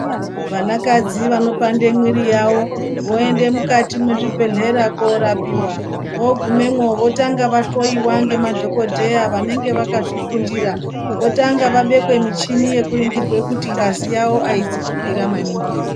Vana kadzi vanopande mwiri yavo voende mukati mwezvibhedhlera korapiva. Vogumemo votanga vahoiwa ngemadhogodheya vanenge vakazvifundira. Votanga vabekwe michini yekuringirwe kuti ngazi yavo aizi kukwira maningi ere.